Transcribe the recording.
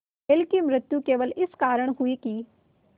बैल की मृत्यु केवल इस कारण हुई कि